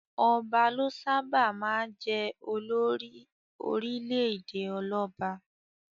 Ọba ló sábà máa jẹ olórí orílẹ̀-èdè ọlọ́ba.